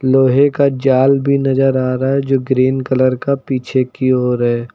लोहे का जाल भी नजर आ रहा है जो ग्रीन कलर का पीछे की ओर है।